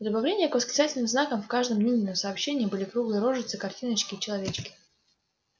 в добавление к восклицательным знакам в каждом нинином сообщении были круглые рожицы картиночки человечки